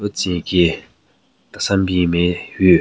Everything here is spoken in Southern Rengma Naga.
Lo tsü nyeki tesenbin nme hyu.